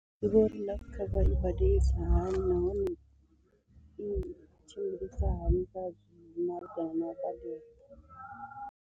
Ndi vhona uri life cover i badelisa hani na hone i tshimbilisa hani kha malugana na u badela.